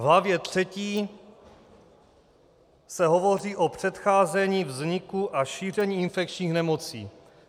V hlavě III se hovoří o předcházení vzniku a šíření infekčních nemocí.